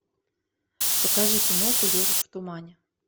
покажи киноху ежик в тумане